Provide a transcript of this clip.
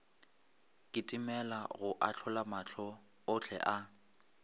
kitimela go ahlolamahlo ohle a